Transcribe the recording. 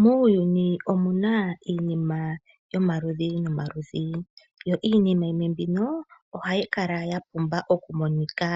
Muuyuni omuna iinima yomaludhi nomaludhi yo iinima yimwe mbino ohayi kala ya pumba okumonika.